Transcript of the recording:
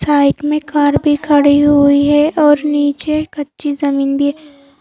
side में car भी खड़ी हुई है और नीचे कच्ची जमीन भी--